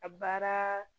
A baara